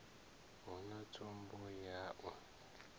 hu na tsumbo ya u